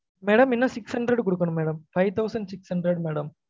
madam இன்னும் six hundred குடுக்கன்னும் madam five thousand six hundred madam